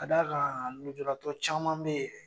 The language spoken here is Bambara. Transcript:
Ka da kan lujuratɔ caman be yen